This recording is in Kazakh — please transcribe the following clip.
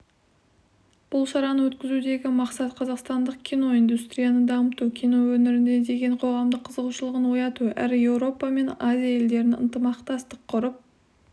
бұл шараны өткізудегі мақсат қазақстандық кино индустрияны дамыту кино өнеріне деген қоғамның қызығушылығын ояту әрі еуропа мен азия елдерінің ынтымақтастық құрып